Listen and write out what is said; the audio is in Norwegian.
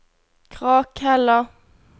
Krakhella